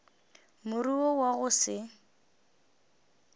more wo wa go se